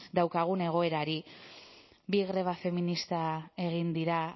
daukagun egoerari bi greba feminista egin dira